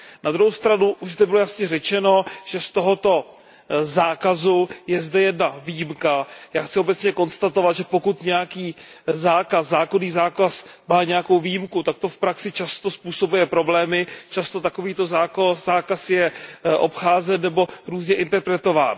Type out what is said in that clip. Na druhou stranu už zde bylo jasně řečeno, že z tohoto zákazu je zde jedna výjimka. Já chci obecně konstatovat, že pokud nějaký zákonný zákaz má nějakou výjimku, tak to v praxi často způsobuje problémy, často takovýto zákaz je obcházen nebo různě interpretován.